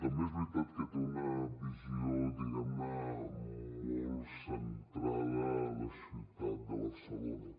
també és veritat que té una visió diguem ne molt centrada a la ciutat de barcelona